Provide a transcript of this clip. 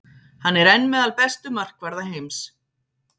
Hann er enn meðal bestu markvarða heims.